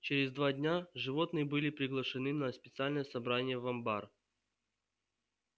через два дня животные были приглашены на специальное собрание в амбар